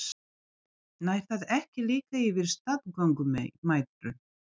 Nær það ekki líka yfir staðgöngumæðrun?